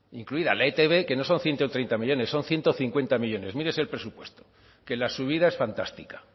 incluida la etb que no son ciento treinta millónes son ciento cincuenta millónes mírese el presupuesto que la subida es fantástica